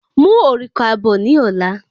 Mú òrùka bọ ní ola